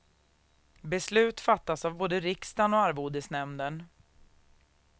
Beslut fattas av både riksdagen och arvodesnämnden.